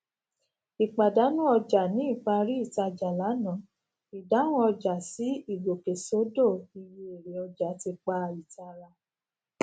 ìpàdánù ọjà ní ìparí ìtajà lánàá ìdáhùn ọjà sí ìgòkèsódó iye èrè ọjà ti pá ìtara